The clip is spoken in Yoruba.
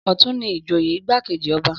Ọ̀tún ni ìjòyè igbákejì ọba